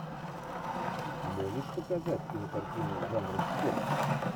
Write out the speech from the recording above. можешь показать кинокартину жанра спорт